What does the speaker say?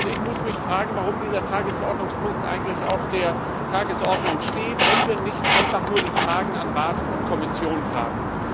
Und ich muss mich fragen, warum dieser Tagesordnungspunkt eigentlich auf der Tagesordnung steht, wenn wir nicht einfach nur die Fragen an Rat und Kommission haben.